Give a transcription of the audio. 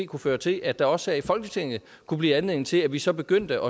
kunne føre til at der også her i folketinget kunne blive anledning til at vi så begyndte